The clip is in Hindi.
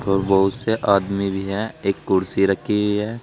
और बहुत से आदमी भी है एक कुर्सी रखी हुई है।